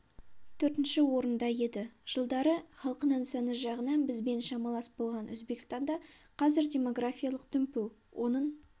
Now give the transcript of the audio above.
төртінші орында еді жылдары халқының саны жағынан бізбен шамалас болған өзбекстанда қазір демографиялық дүмпу оның